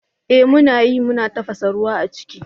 Eh muna yi, muna tafasa ruwa a ciki.